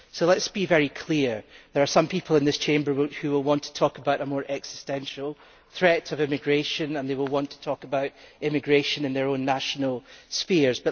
So let us be very clear there are some people in this Chamber who will want to talk about a more existential threat to immigration, and they will want to talk about immigration in their own national spheres.